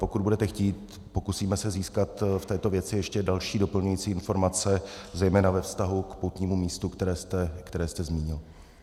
Pokud budete chtít, pokusíme se získat v této věci ještě další doplňující informace, zejména ve vztahu k poutnímu místu, které jste zmínil.